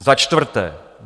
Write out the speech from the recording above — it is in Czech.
Za čtvrté.